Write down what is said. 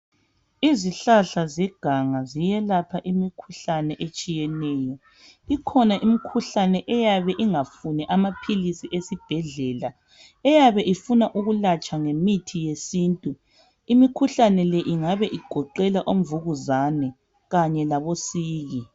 Izihlahla zeganga ziyelapha imikhuhlane etshiyeneyo. Ikhona imikhuhlane eyabe ingafuni amaphilisi esibhedlela eyabe ifuna ukulatshwa ngemithi yesintu. Imikhuhlane le ingabe igoqela omvukuzane kanye labosiki.